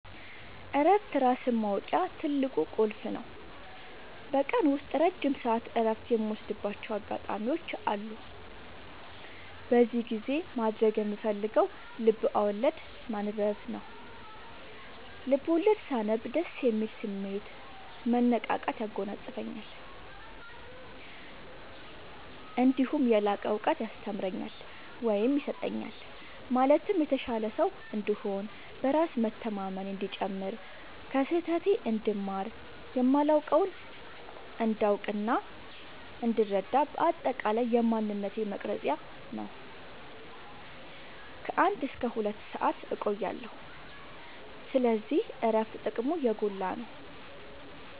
እረፍት ራስን ማወቂያ ትልቁ ቁልፍ ነው። በቀን ውስጥ ረጅም ሰዓት እረፍት የምወስድባቸው አጋጣዎች አሉ። በዚህ ጊዜ ማድረግ የምፈልገው ልብዐወለድ ማንበብ ነው፤ ልቦለድ ሳነብ ደስ የሚል ስሜት፣ መነቃቃት ያጎናፅፈኛል። እነዲሁም የላቀ እውቀት ያስተምረኛል ወይም ይሰጠኛል ማለትም የተሻለ ሰው እንድሆን፣ በራስ መተማመኔ እንዲጨምር፣ ከስህተቴ እንድማር፣ የማላውቀውን እንዳውቅናእንድረዳ በአጠቃላይ የማንነቴ መቅረጽያ ነው። ከ አንድ እስከ ሁለት ሰአት እቆያለሁ። ስለዚህ እረፍት ጥቅሙ የጎላ ነው።